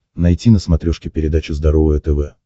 найти на смотрешке передачу здоровое тв